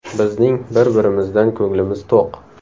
Bizning bir-birimizdan ko‘nglimiz to‘q.